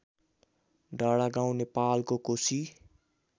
डाँडागाउँ नेपालको कोशी